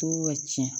To ka tiɲɛ